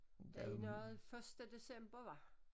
Da er noget første december var